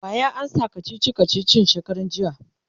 waya amsa kachichi kachichin shekaran jiya?